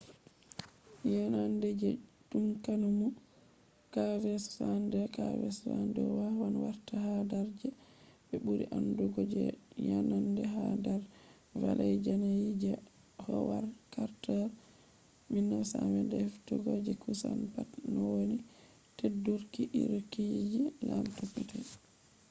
yenande je tutankhanmu kv62. kv62 wawan warta ha dar je be buri andugo je yanande ha dar valley yanayi je howard carter’s 1922 heftugo je kusan pat nowoni teddurki irruki je lamdo petel